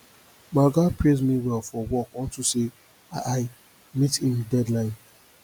my oga praise me well for work unto say i i meet im deadline